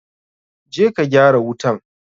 Je ka gyara wutan!